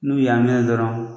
N'u y'an mɛnɛ dɔrɔn.